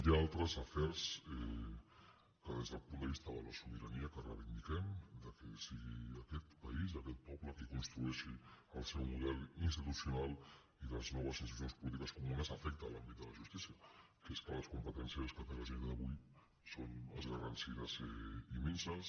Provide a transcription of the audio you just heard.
hi ha altres afers des del punt vista de la sobirania que reivindiquem que sigui aquest país i aquest poble qui construeixi el seu model institucional i les noves institucions polítiques afecta l’àmbit de la justícia que és que les competències que té la generalitat avui són escarransides i minses